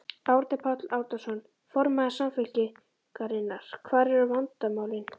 Árni Páll Árnason, formaður Samfylkingarinnar: Hvar eru vandamálin?